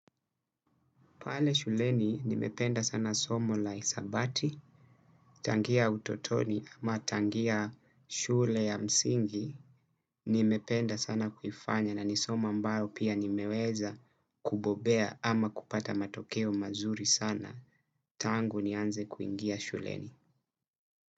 Pale shuleni nimependa sana somo la isabati, tangia utotoni ama tangia shule ya msingi, nimependa sana kuifanya na nisomo ambaro pia nimeweza kubobea ama kupata matokeo mazuri sana, tangu nianze kuingia shuleni.